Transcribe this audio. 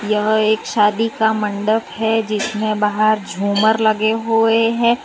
यह एक शादी का मंडप है जिसमें बाहर झूमर लगे हुए है।